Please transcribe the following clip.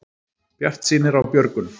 Bjartsýnir á björgun